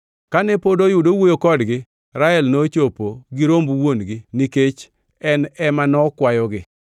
Kane pod oyudo owuoyo kodgi, Rael nochopo gi romb wuon-gi nikech en ema nokwayogi.